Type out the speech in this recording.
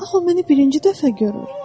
"Aha, o məni birinci dəfə görür."